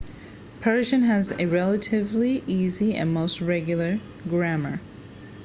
persian has a relatively easy and mostly regular grammar